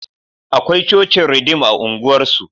Akwai cocin Ridim a unguwar su